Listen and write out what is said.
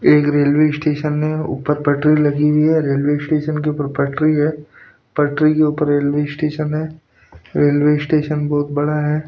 एक railway station है ऊपर पटरी लगी हुई है रेलवे स्टेशन के ऊपर पटरी है पटरी के ऊपर रेलवे स्टेशन है रेलवे स्टेशन बहुत बड़ा है।